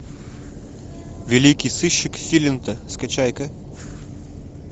великий сыщик филинта скачай ка